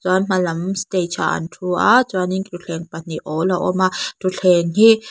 hma lam stage ah an thu a chuan in thutthleng pahnih awl a awm a thutthleng hi--